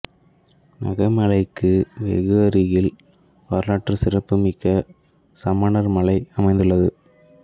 நகமலைக்கு வெகு அருகில் வரலாற்று சிறப்பு மிக்க சமணர் மலை அமைந்துள்ள்து